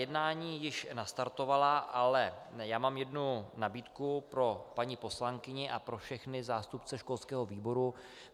Jednání již nastartovala, ale já mám jednu nabídku pro paní poslankyni a pro všechny zástupce školského výboru.